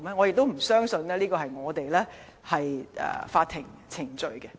我不相信我們的法庭程序是這樣的。